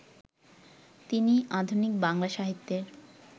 তিনি আধুনিক বাংলা সাহিত্যের